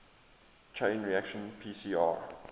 chain reaction pcr